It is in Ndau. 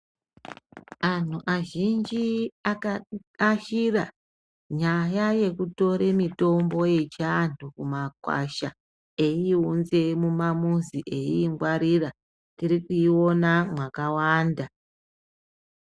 Anhu azhinji akaashira nyaya yekutore mitombo yechiantu kumakwasha eiiunze mumamuzi eiingwarira. Tirikuiona mwakawanda.